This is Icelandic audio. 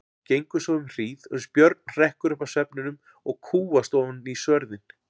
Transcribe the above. Gengur svo um hríð, uns Björn hrekkur upp af svefninum og kúgast ofan í svörðinn.